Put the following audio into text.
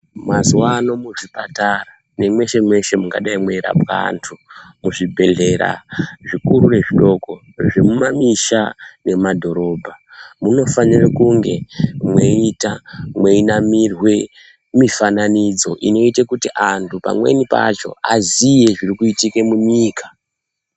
Mazuwano muzvipatara nemweshe-mweshe mungadai mweirapwa antu, muzvibhehlera zvikuru nezvidoko, zvemumamisha nemumadhorobha, munofanira kunge mweiita mweinamirwe mifananidzo inoite kuti antu pamweni pacho aziye zvirikuitike munyika.